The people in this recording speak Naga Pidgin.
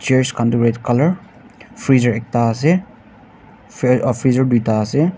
chairs khan to red colour freezer ekta ase freezer du ta ase.